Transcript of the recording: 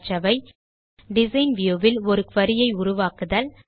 கற்றவை design view வில் ஒரு குரி உருவாக்குதல்